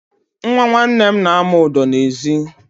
Nwa nwanne m na-amụ ụdọ n'ezi.